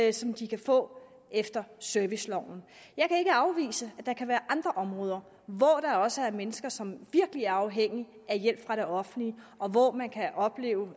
og som de kan få efter serviceloven jeg kan ikke afvise at der kan være andre områder hvor der også er mennesker som virkelig er afhængige af hjælp fra det offentlige og hvor man kan opleve